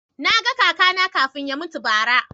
Na ga kaka na kafin ya mutu bara